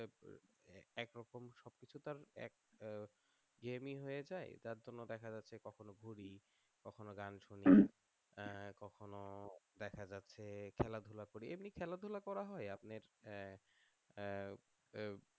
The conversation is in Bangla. কিছু তার এক ইয়ে দেরি হয়ে যায় তার জন্য দেখা যাচ্ছে কখনো ঘুরি কখনো গান শুনি কখনো দেখা যাচ্ছে খেলাধুলা করি এমনি খেলাধুলা করা হয় আপনার